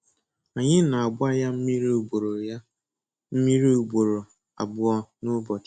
Anyị na-agba ya mmiri ugboro ya mmiri ugboro abụọ n'ụbọchị.